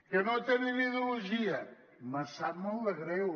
que no tenen ideologia me sap molt de greu